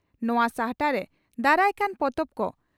ᱱᱚᱣᱟ ᱥᱟᱦᱴᱟᱨᱮ ᱫᱟᱨᱟᱭᱠᱟᱱ ᱯᱚᱛᱚᱵ ᱠᱚ